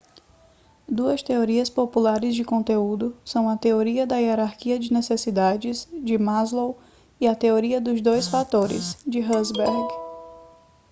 duas teorias populares de conteúdo são a teoria da hierarquia de necessidades de maslow e a teoria dos dois fatores de herzberg